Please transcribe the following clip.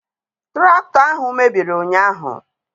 Tụraktọ ahụ mebiri ụnyaahụ.